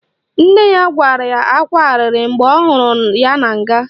Nne ya kwara ákwá arịrị mgbe ọ hụrụ ya na nga